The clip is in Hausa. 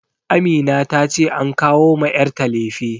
Amina ta ce an kawo ma yarta lefe